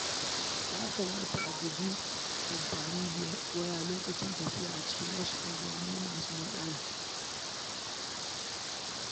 Yana da kyau a guji amfani da waya lokacin tafiya a cikin unguwanni masu haɗari.